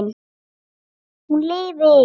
Hún lifi!